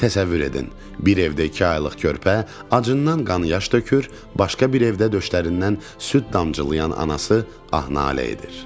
Təsəvvür edin, bir evdə iki aylıq körpə acından qan-yaş tökür, başqa bir evdə döşlərindən süd damcılayan anası ah-nalə edir.